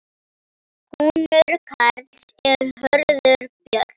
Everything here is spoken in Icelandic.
Sonur Karls er Hörður Björn.